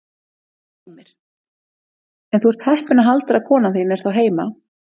Heimir: En þú ert heppinn að Halldóra kona þín er þá heima?